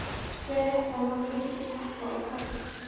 Síðan rétti hann okkur lítinn pakka og kvaddi.